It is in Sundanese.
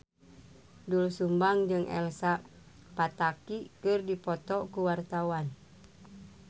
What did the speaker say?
Doel Sumbang jeung Elsa Pataky keur dipoto ku wartawan